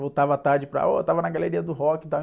Voltava à tarde e, oh, eu estava na galeria do rock e tal.